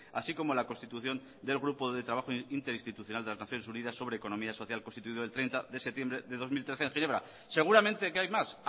así como la constitución del grupo de trabajo interinstitucional de las naciones unidas sobre economía social constituido el treinta de septiembre de dos mil trece en ginebra seguramente que hay más